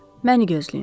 məni gözləyin.